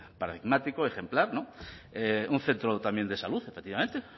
paradigmático ejemplar un centro también de salud efectivamente